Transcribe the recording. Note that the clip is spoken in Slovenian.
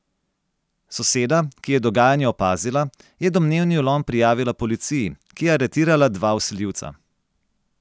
Soseda, ki je dogajanje opazila, je domnevni vlom prijavila policiji, ki je aretirala dva vsiljivca.